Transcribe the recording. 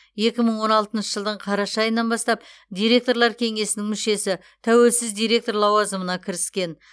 екі мың он алтыншы жылдың қараша айынан бастап директорлар кеңесінің мүшесі тәуелсіз директор лауазымына кіріскен